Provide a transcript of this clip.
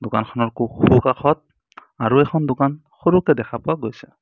দোকানখনৰ কো সোঁকাষত আৰু এখন দোকান সৰুকে দেখা পোৱা গৈছে।